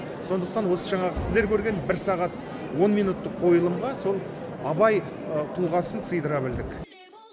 сондықтан осы жаңағы сіздер көрген бір сағат он минуттық қойылымға сол абай тұлғасын сыйдыра білдік